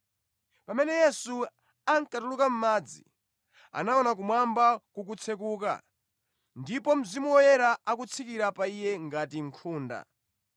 Pamene Yesu ankatuluka mʼmadzi, anaona kumwamba kukutsekuka ndipo Mzimu Woyera akutsikira pa Iye ngati nkhunda.